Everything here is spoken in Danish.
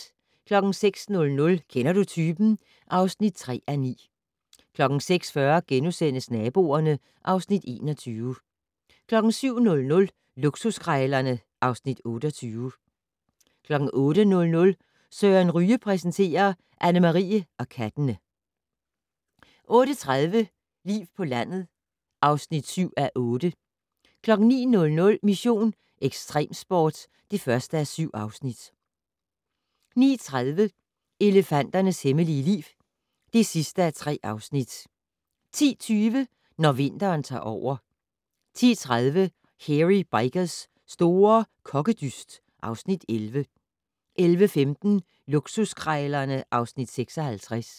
06:00: Kender du typen? (3:9) 06:40: Naboerne (Afs. 21)* 07:00: Luksuskrejlerne (Afs. 28) 08:00: Søren Ryge præsenterer: Annemarie og kattene 08:30: Liv på landet (7:8) 09:00: Mission: Ekstremsport (1:7) 09:30: Elefanternes hemmelige liv (3:3) 10:20: Når vinteren tager over 10:30: Hairy Bikers' store kokkedyst (Afs. 11) 11:15: Luksuskrejlerne (Afs. 56)